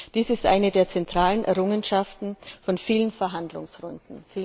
Dies ist eine der zentralen Errungenschaften von vielen Verhandlungsrunden.